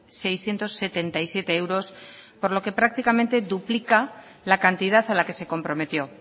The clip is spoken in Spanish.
seiscientos setenta y siete euros por lo que prácticamente duplica la cantidad a la que se comprometió